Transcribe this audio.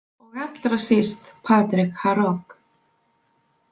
Og allra síst Patrik Harok.